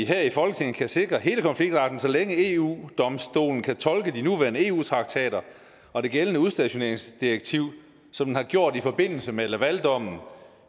her i folketinget kan sikre hele konfliktretten så længe eu domstolen kan tolke de nuværende eu traktater og det gældende udstationeringsdirektiv som den har gjort i forbindelse med lavaldommen